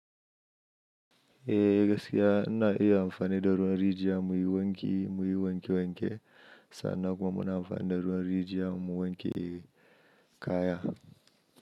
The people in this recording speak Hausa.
E, gasiya in na iya amfani da ruwan rijiya muyi wanke muyi wanke wanke sannan kuma muna amfani da ruwan rijiya mu wanke kaya.